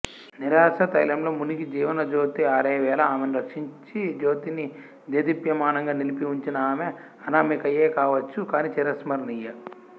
నిరాశా తైలంలో మునిగి జీవనజ్యోతి ఆరేవేళ ఆమెను రక్షించి జ్యోతిని దేదీప్యమానంగా నిలిపిఉంచిన ఆమె అనామికయే కావచ్చు కానీ చిరస్మరణీయ